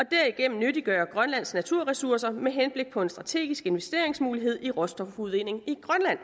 nyttiggøre grønlands naturressourcer med henblik på en strategisk investeringsmulighed i råstofudvinding i grønland